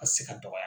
Ka se ka dɔgɔya